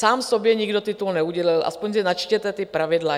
Sám sobě nikdo titul neudělil, aspoň si načtěte ta pravidla.